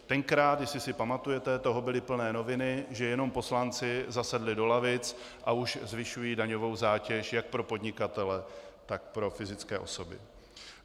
Tenkrát, jestli si pamatujete, toho byly plné noviny, že jenom poslanci zasedli do lavic, a už zvyšují daňovou zátěž jak pro podnikatele, tak pro fyzické osoby.